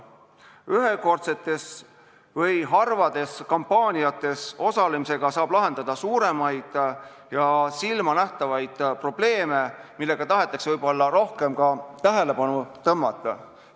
Ühekordsetes või harvades kampaaniates osalemisega saab lahendada suuremaid ja silmanähtavaid probleeme, millele tahetakse võib-olla rohkem tähelepanu tõmmata.